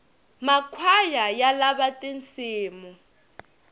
makhwaya ya lava tinsimu